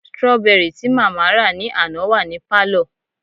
strawberry tí mama ra ni àná wa ni palo